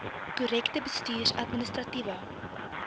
korrekte bestuurs administratiewe